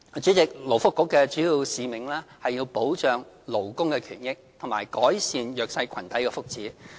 主席，勞工及福利局的主要使命是保障勞工權益和改善弱勢群體的福祉。